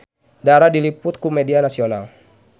Dara diliput ku media nasional